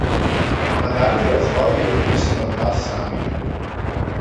Nadaljnji razvoj je odvisen od vas samih.